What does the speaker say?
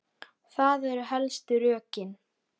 Það eru helstu rökin.